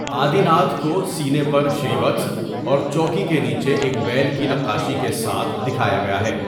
آدی ناتھ کو سینے پر شریوتس اور چوکی کے نیچے ایک بیل کی نقاشی کے ساتھ دکھایا گیا ہے۔